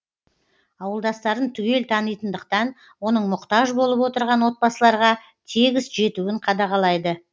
ауылдастарын түгел танитындықтан оның мұқтаж болып отырған отбасыларға тегіс жетуін қадағалайды